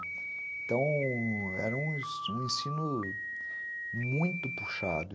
Então, era um ensino muito puxado.